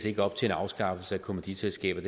ikke op til en afskaffelse af kommanditselskaber